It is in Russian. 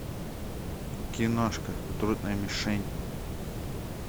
киношка трудная мишень